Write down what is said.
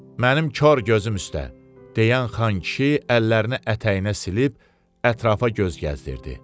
Mənim kar gözüm üstə, deyən xankişi əllərini ətəyinə silib ətrafa göz gəzdirdi.